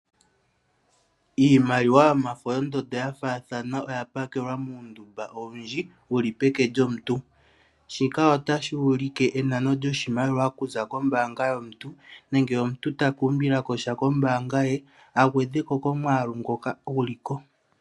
Iimaliwa yomafo yondondo ya faathana oya pakelwa muundumba owundji wuli peke lyomuntu. Shika otashi ulike enano lyoshimaliwa okuza kombaanga yomuntu, nenge omuntu ta ka umbilako sha kombaanga ye, agweheko komwaalu ngoka guliko.